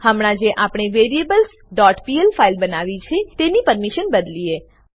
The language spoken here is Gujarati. હમણાં જે આપણે variablesપીએલ ફાઈલ બનાવી છે તેની પરમીશન બદલીએ